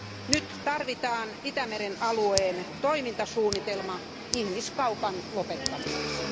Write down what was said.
Nyt tarvitaan Itämeren alueen toimintasuunnitelma ihmiskaupan lopettamiseksi.